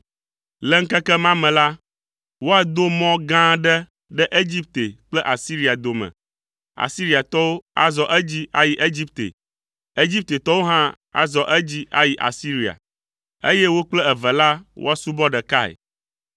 Le ŋkeke ma me la, woado mɔ gã aɖe ɖe Egipte kple Asiria dome, Asiriatɔwo azɔ edzi ayi Egipte, Egiptetɔwo hã azɔ edzi ayi Asiria, eye wo kple eve la woasubɔ ɖekae.